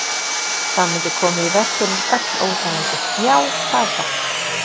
Það mundi koma í veg fyrir öll óþægindi, já, það er satt.